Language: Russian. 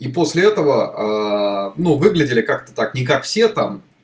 и после этого ну выглядели как-то так не как все там